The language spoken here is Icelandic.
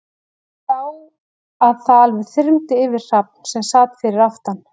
Ég sá að það alveg þyrmdi yfir Hrafn, sem sat fyrir aftan